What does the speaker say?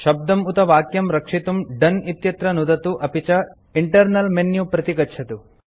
शब्दं उत वाक्यं रक्षितुं दोने इत्यत्र नुदतु अपि च इण्टर्नल मेन्यू प्रति गच्छतु